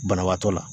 Banabaatɔ la